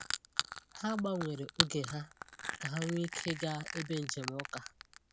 Ha gbanwere oge ha ka ha nwee ike gaa ebe njem uka.